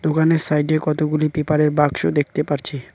দোকানের সাইডে কতগুলি পেপারের বাক্স দেখতে পারছি।